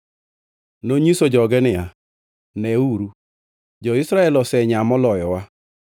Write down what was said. Nonyiso joge niya, “Neuru, jo-Israel osenyaa moloyowa.